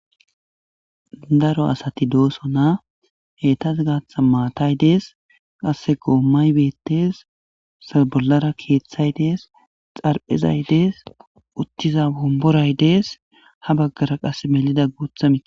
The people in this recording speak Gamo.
Daro asati dooso na hetas gaatha maatay dees qasse goommay beettes salbolara keeththay dees xarphezay dees uttiza bomboray dees ha baggara qase melida guutha miie.